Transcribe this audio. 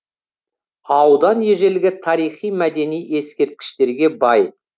аудан ежелгі тарихи мәдени ескерткіштерге бай